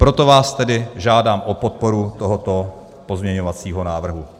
Proto vás tedy žádám o podporu tohoto pozměňovacího návrhu.